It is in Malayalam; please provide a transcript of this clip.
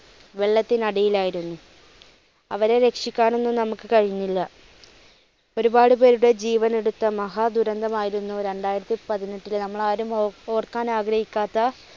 വെള്ളത്തിന് അടിയിലായിരുന്നു. അവരെ രക്ഷിക്കാൻ ഒന്നും നമുക്ക് കഴിഞ്ഞില്ല. ഒരുപാട് പേരുടെ ജീവൻ എടുത്ത മഹാ ദുരന്തം ആയിരുന്നു രണ്ടായിരത്തിപ്പതിനെട്ടിലെ നമ്മൾ ആരും ഓർക്കാൻ ആഗ്രഹിക്കാത്ത,